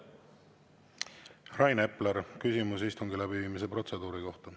Rain Epler, küsimus istungi läbiviimise protseduuri kohta.